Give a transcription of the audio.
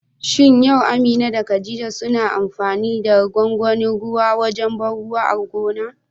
Shin yau Amina da khadija suna amfani da gwagwanin ruwa wajen ban ruwa a gonar?